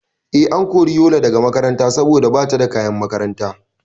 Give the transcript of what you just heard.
Eh, an kori Yola daga makaranta saboda bata da kayan makaranta